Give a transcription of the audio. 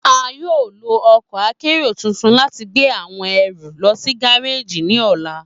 A yoo lo ọkọ́ akero tuntun lati gbe awọn ẹru lọ si gareji ni ọla.